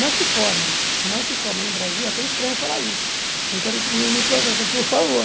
Não se forma, não se forma no Brasil, até estranho falar isso, não quero que ninguém me processa, por favor.